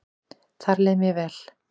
Þar leið mér vel